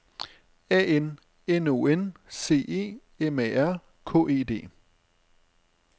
A N N O N C E M A R K E D